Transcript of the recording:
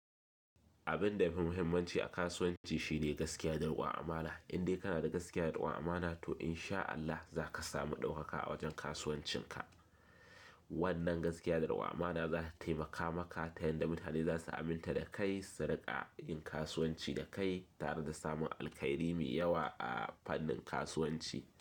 Abin yafi muhimmanci a kasuwanci shine gaskiya da ɗaukan amana. In dai kana da gaskiya da ɗaukan amana to in sha Allah za ka sami ɗaukaka a wajen kasuwancin ka. Wannan gaskiya da raƙon amana za ta taimaka maka ta yanda mutane za su aminta da kai, saruƙa yin kasuwanci da kai, tare da samun alkhairi mai yawa a fannin kasuwanci.